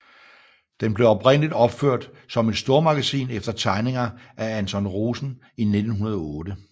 Den blev oprindeligt opført som et stormagasin efter tegninger af Anton Rosen i 1908